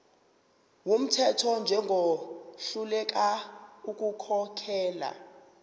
wumthetho njengohluleka ukukhokhela